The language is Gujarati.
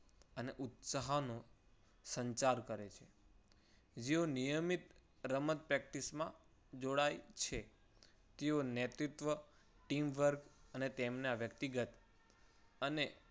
સહાનુ સંચાર કરે. જેવો નિયમિત રમત practice માં જોડાય છે. તેઓ નૈતિકત્વ teamwork અને તેમના વ્યક્તિગત અને